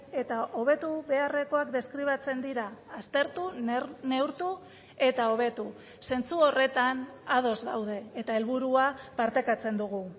eta hobetu beharrekoak deskribatzen dira aztertu neurtu eta hobetu zentzu horretan ados gaude eta helburua partekatzen dugu